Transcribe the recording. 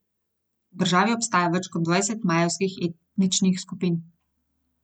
V državi obstaja več kot dvajset majevskih etničnih skupin.